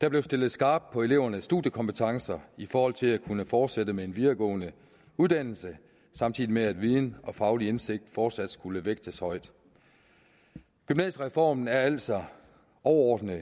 der blev stillet skarpt på elevernes studiekompetencer i forhold til at kunne fortsætte med en videregående uddannelse samtidig med at viden og faglig indsigt fortsat skulle vægtes højt gymnasiereformen er altså overordnet